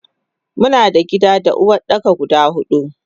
Muna da gida da Uwardaka guda hudu.